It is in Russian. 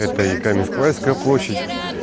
это и каменск-уральская площадь